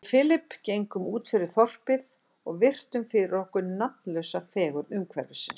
Við Philip gengum útfyrir þorpið og virtum fyrir okkur nafnlausa fegurð umhverfisins.